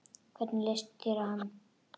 Hvernig leist þér á hann?